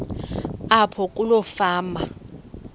apho kuloo fama